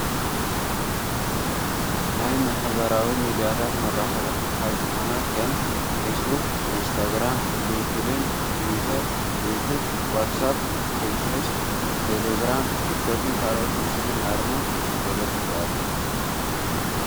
ናይ ማሕበራዊ ሚድያታት መራከቢ ሓፋሽ ዝኮነ ከም ፊስቡክ፣ ኢንስታ ግራም ፣ሊነከደን ፣ቲዊተር ፣ዩቱብ፣ ዋትስ ኣፕ፣ ፔንትሬስት፣ ቴለግራም፣ ቲክቶክን ካልኦትን ምስሊን ኣርማ ተለጢፉ ኣሎ።